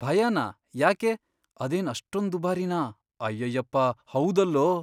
ಭಯನಾ? ಯಾಕೆ? ಅದೇನ್ ಅಷ್ಟೊಂದ್ ದುಬಾರಿನಾ? ಅಯ್ಯಯ್ಯಪ್ಪ, ಹೌದಲ್ಲೋ!